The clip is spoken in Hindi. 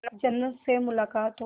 जन्नत से मुलाकात हो